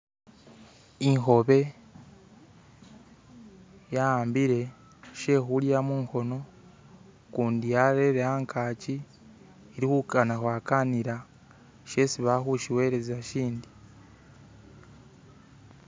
Ikhoobe ya'ambile shekhulya mukhono kundi yarele angaaki ili khukana kwakanila shesi bali khushiweleza shindi.